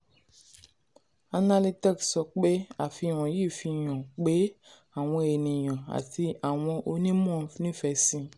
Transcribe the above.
analytex sọ pé àfihàn yìí fi hàn pé àwọn ènìyàn àti àwọn onímọ̀ nífẹ̀ẹ́ sí.